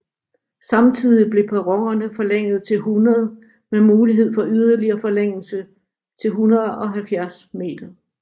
Samtidig blev perronerne forlænget til 100 med mulighed for yderligere forlængelse til 170 m